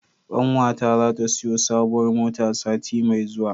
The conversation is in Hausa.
Ƙawata zata siyo sabuwar mota sati mai zuwa.